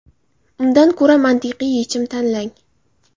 Undan ko‘ra, mantiqiy yechim tanlang.